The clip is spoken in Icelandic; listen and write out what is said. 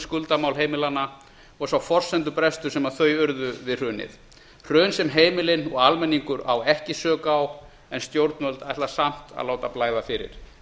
skuldamál heimilanna og sá forsendubrestur sem þau urðu fyrir við hrunið hrun sem heimilin og almenningur á ekki sök á en stjórnvöld ætla samt að láta blæða fyrir